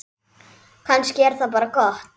Kannski er það bara gott.